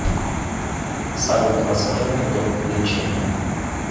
салют расскажи анекдот про лечение